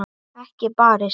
Ekki barist.